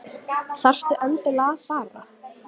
Þarftu endilega að fara?